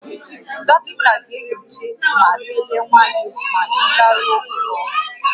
Dọkịta ga-enyocha ma lelee nwa gị ma ị garuo ụlọ ọgwụ